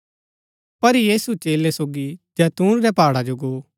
[पर यीशु चेलै सोगी जैतून रै पहाडा जो गो